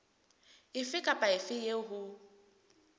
efe kapa efe eo ho